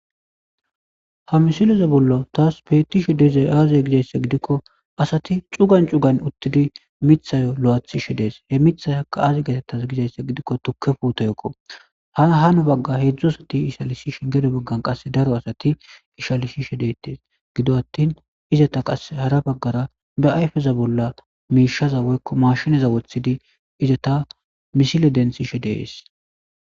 Ha misileza bollo taas peettishe deezay aaze gizayssa gidikko asati cugan cugan uttidi mithayo lo'aathishe dees he mithay aka aaze getettas gizayssa gidikko tukke puutoyekko hahano bagga hedzdzu asati isalisi shi gedo baggan qasse daro asati ishalisi she deetes gido attin izata qase hara baggara be ayfeza bolla miishaza woykko mashinaza wothidi izata misile densishe dees.